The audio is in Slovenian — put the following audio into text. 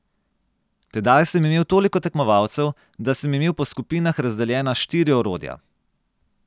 Tedaj sem imel toliko tekmovalcev, da sem imel po skupinah razdeljena štiri orodja.